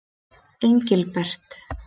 Engilbert